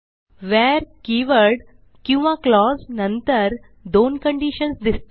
where keyword किवा clause नंतर दोन कंडिशन्स दिसतील